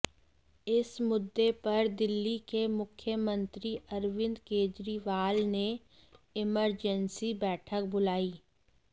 इस मुद्दे पर दिल्ली के मुख्यमंत्री अरविंद केजरीवाल ने इमरजेंसी बैठक बुलाई